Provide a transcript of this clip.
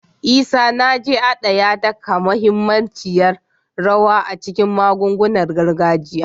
Isanaje, a da, ya taka muhimmiyar rawa a cikin magungunan gargajiya